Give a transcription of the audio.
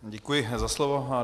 Děkuji za slovo.